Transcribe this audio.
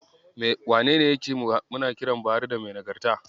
Wanene yace muna kiran Buhari da "Mai Nagarta"?